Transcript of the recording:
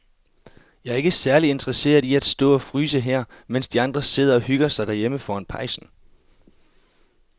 Jeg er ikke særlig interesseret i at stå og fryse her, mens de andre sidder og hygger sig derhjemme foran pejsen.